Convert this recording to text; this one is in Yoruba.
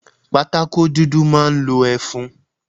Pátákó dúdú máa ń lo ẹfun.